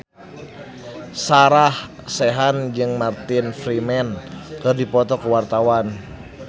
Sarah Sechan jeung Martin Freeman keur dipoto ku wartawan